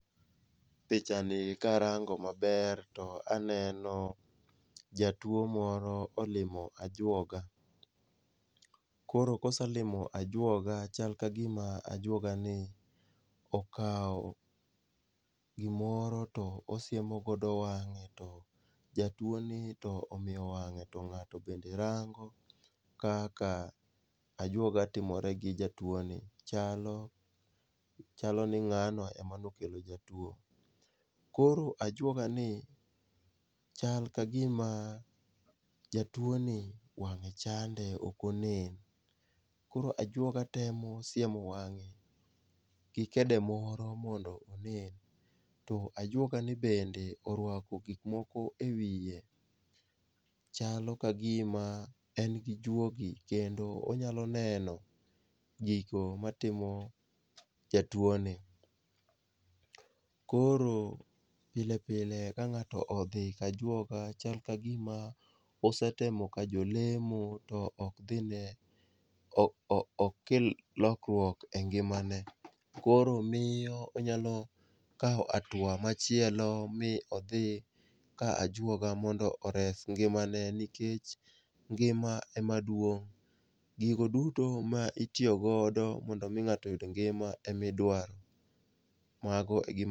pichani karango to aneno jatuwo moro olimo ajwoga, koro koselimo ajwoga, chal ka gima ajwogani okawo gimoro to osiemo godo wang'e to jatuwoni to ong'iyo wang'e to ng'ato bende rango kaka ajwoga timore gi jatuwoni, chalo ni ng'ano ema nokelo jatuwo. Koro ajwogani chal ka gima jatuwoni wang'e chande, ok onen, koro ajwoga temo siemo wang'e gi kede moro mondo onen, to ajwogani bende orwako gik moko e wiye, chalo ka gima en gi juogi, kendo onyalo neno gigo matimo jatuwoni. Koro pile pile ka ng'ato odhi ka ajwoga chal ka gima osetemo ka jolemo to ok kel lokruok engimane, koro miyo onyalo kawo hatua machielo mi odhi ka ajwoga mondo ores ngimane nikech ngima emaduong' . Gigo duto ma itiyo godo mondo omi ng'ato oyud ngima emidwaro.